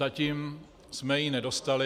Zatím jsme ji nedostali.